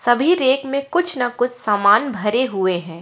सभी रैक में कुछ न कुछ सामान भरे हुए है।